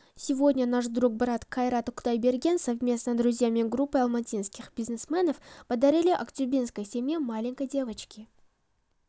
сегодня наш друг брат кайрат кудайберген совместно друзьями группой алматинскиі бизнесменов подарили актюбинской семье маленькой девочки